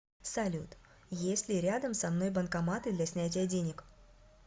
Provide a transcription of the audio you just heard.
салют есть ли рядом со мной банкоматы для снятия денег